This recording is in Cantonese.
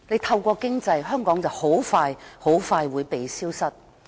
透過經濟把香港大陸化，香港很快便會"被消失"。